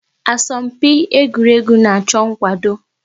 Asọmpi egwuregwu na-achọ nkwado